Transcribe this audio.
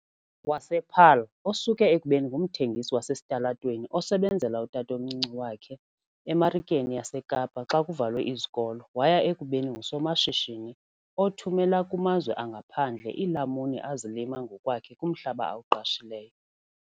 wasePaarl, osuke ekubeni ngumthengisi wasesitalatweni osebenzela utatomncinci wakhe eMarikeni yaseKapa xa kuvalwe izikolo waya ekubeni ngusomashishini othumela kumazwe angaphandle iilamuni azilima ngokwakhe kumhlaba awuqashileyo.